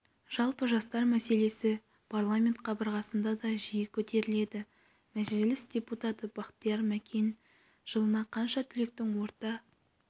жалпы жастар мәселесі парламент қабырғасында да жиі көтеріледі мәжіліс депутаты бахтияр мәкен жылына қанша түлектің орта